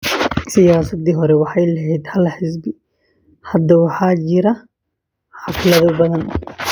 Siyaasaddii hore waxay lahayd hal xisbi. Hadda waxaa jira xaflado badan.